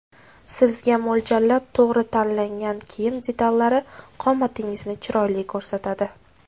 Sizga mo‘ljallab to‘g‘ri tanlangan kiyim detallari qomatingizni chiroyli ko‘rsatadi.